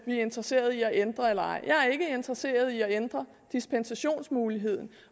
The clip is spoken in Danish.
er interesserede i at ændre eller er interesseret i at ændre dispensationsmuligheden